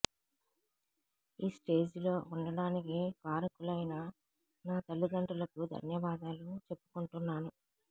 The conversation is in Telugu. ఈ స్టేజిలో ఉండడానికి కారుకులైన నా తల్లిదండ్రులకు ధన్యవాదాలు చేప్పుకుంటున్నాను